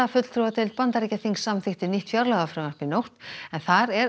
fulltrúadeild Bandaríkjaþings samþykkti nýtt fjárlagafrumvarp í nótt en þar er